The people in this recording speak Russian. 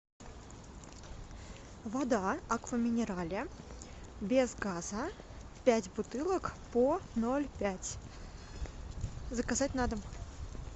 вода аква минерале без газа пять бутылок по ноль пять заказать на дом